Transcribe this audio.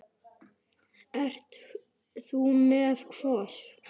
Ert þú með þennan hvolp?